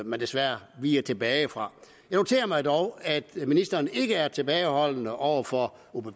man desværre viger tilbage fra jeg noterer mig dog at ministeren ikke er tilbageholdende over for